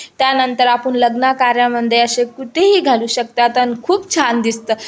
त्यानंतर आपण लग्न कार्या मध्ये अशी कुठेहि घालू शकतात आणि खूप छान दिसतं.